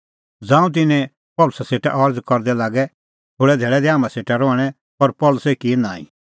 ज़ांऊं तिन्नैं पल़सी सेटा अरज़ करदै लागै थोल़ै धैल़ै दै हाम्हां सेटा रहणैं पर पल़सी किअ नांईं